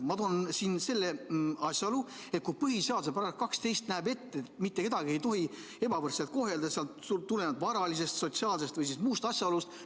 Ma toon esile asjaolu, et põhiseaduse § 12 näeb ette, et mitte kedagi ei tohi ebavõrdselt kohelda tulenevalt tema varalisest, sotsiaalsest või muust asjaolust.